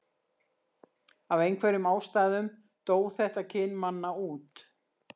af einhverjum ástæðum dó þetta kyn manna út